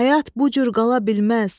Həyat bu cür qala bilməz.